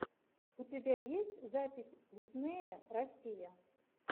у тебя есть запись диснея россия